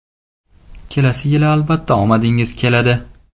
Kelasi yil albatta omadingiz keladi!